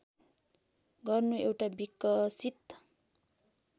गर्नु एउटा विकसित